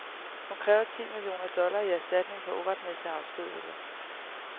Hun kræver ti millioner dollar i erstatning for uretmæssig afskedigelse.